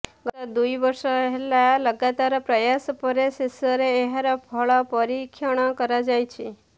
ଗତ ଦୁଇ ବର୍ଷ ହେଲା ଲଗାତାର ପ୍ରୟାସ ପରେ ଶେଷରେ ଏହାର ସଫଳ ପରୀକ୍ଷଣ କରାଯାଇଛି